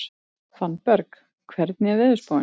Fannberg, hvernig er veðurspáin?